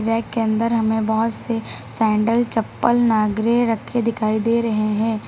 Rack के अंदर हमे बहोत से सैंडल चप्पल नागरे रखे दिखाई दे रहे है।